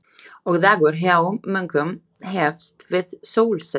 Og dagur hjá munkum hefst við sólsetur.